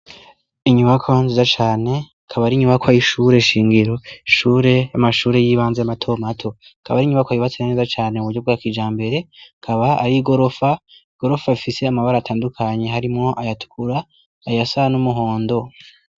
Inyubako nziza cane kaba ari inyubako ayoishure shingiro ishure amashure y'ibanza amatomato kaba ari inyubako ayibatse naneza cane mu buryo bwa kija mbere kaba ari i gorofa i gorofa afise amabara atandukanyi harimwo ayatkura ayasan'umuhondo.